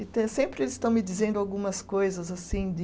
Então sempre eles estão me dizendo algumas coisas assim de